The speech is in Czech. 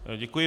Děkuji.